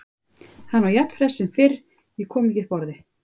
Hann var jafn hress sem fyrr, ég kom ekki upp orði.